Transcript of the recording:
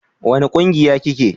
wani ƙungiya ki ke?